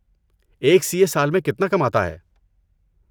ایک C A سال میں کتنا کماتا ہے؟